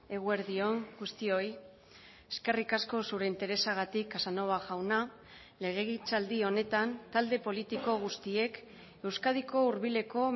eguerdi on guztioi eskerrik asko zure interesagatik casanova jauna legegintzaldi honetan talde politiko guztiek euskadiko hurbileko